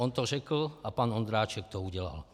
On to řekl a pan Ondráček to udělal.